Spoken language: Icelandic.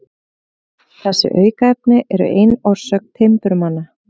Þessi aukaefni eru ein orsök timburmanna.